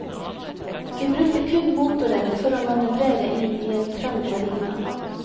Vi brukte kun motoren for å manøvrere inn i en trang marina.